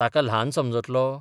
ताका ल्हान समजतलो?